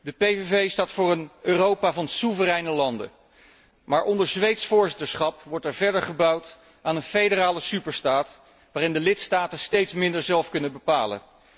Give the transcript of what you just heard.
De PVV staat voor een Europa van soevereine landen, maar onder Zweeds voorzitterschap wordt er verder gebouwd aan een federale superstaat waarin de lidstaten steeds minder zelf kunnen bepalen.